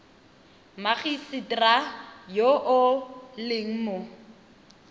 mmagisetera yo o leng mo